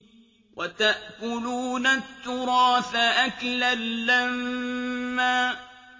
وَتَأْكُلُونَ التُّرَاثَ أَكْلًا لَّمًّا